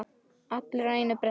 Allir á einu bretti.